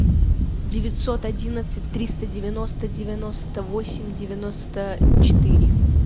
девятьсот одиннадцать триста девяносто девяносто восемь девяносто четыре